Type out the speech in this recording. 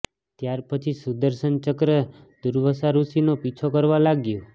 ત્યાર પછી સુદર્શન ચક્ર દુર્વાસા ઋષિનો પીછો કરવા લાગ્યું